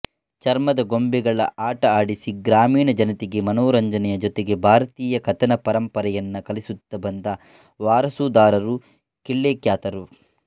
ಚರ್ಮದ ಗೊಂಬೆಗಳ ಆಟ ಆಡಿಸಿ ಗ್ರಾಮೀಣ ಜನತೆಗೆ ಮನೋರಂಜನೆಯ ಜೊತೆಗೆ ಭಾರತೀಯ ಕಥನ ಪರಂಪರೆಯನ್ನ ಕಲಿಸುತ್ತಾ ಬಂದ ವಾರಸುದಾರರು ಕಿಳ್ಳೆಕ್ಯಾತರು